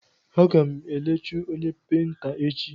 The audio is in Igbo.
Aga m elechu onye peinta echi.